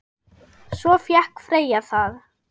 Svo fékk Freyja það.